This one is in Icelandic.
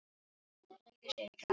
Hann fleygði sér í grasið og grét.